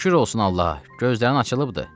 Şükür olsun Allaha, gözlərin açılıbdır.